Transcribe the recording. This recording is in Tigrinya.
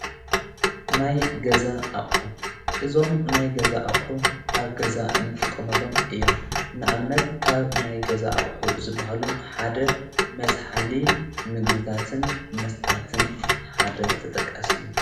ናይ ገዛ ኣቕሑ እዞም ናይ ገዛ ኣቕሑ ኣብ ገዛ እንጥቖመሎም እዮም ንኣብነት ካብ ናይ ገዛ ኣቕሑ ዝበሃሉ ሓደ መዝኃሊ ምግብታትን መስታትን ሓደ ተጠቃስ እዮም፡፡